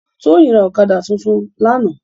Toyin rá òkàdá tútún làná